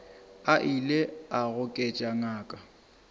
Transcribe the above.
a ile a goketša ngaka